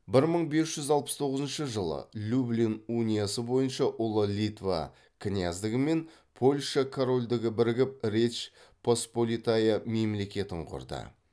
бір мың бес жүз алпыс тоғызыншы жылы люблин униясы бойынша ұлы литва князьдігі мен польша корольдігі бірігіп речь посполитая мемлекетін құрды